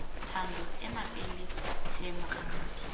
thando ema pele tlhe mogatsaka